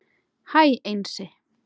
Hæ Einsi